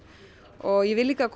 og ég vil líka að